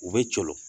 U bɛ coolo